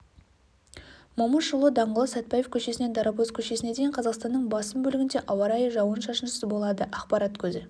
момышұлы даңғылы сәтбаев көшесінен дарабоз көшесіне дейін қазақстанның басым бөлігінде ауа райы жауын-шашынсыз болады ақпарат көзі